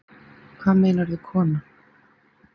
Hvað meinarðu kona?